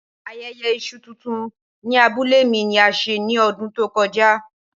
Ayẹyẹ iṣu tuntun ni abule mi ni a ṣe ni ọdun to kọja.